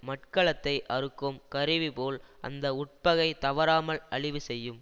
மட்கலத்தை அறுக்கும் கருவி போல் அந்த உட்பகை தவறாமல் அழிவு செய்யும்